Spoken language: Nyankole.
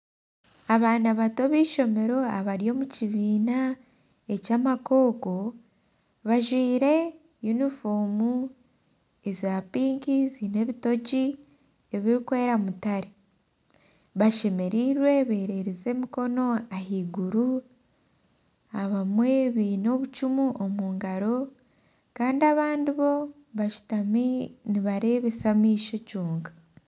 Omushaija ariyo ayemereire akwaitse enyama omungaro, omushaija ogu ajwire emyenda eya mutare kandi omu maisho ge hariyo ebintu ebiri omu rangi erikwiragura nana erangi eya mutare kandi aha rubaju hariyo abantu bajwire emyenda etarikushushana nkeri omu rangi ya kinyaatsi kandi hariyo n'obucupa bw'amaizi.